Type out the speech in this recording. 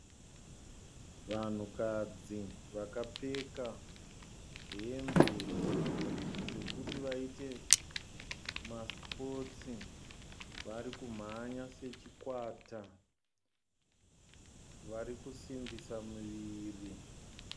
Vanhukadzi vakapfeka hembe dzekuti vaite masipotsi, varikumhanya sechikwata, vari kusimbisa miviri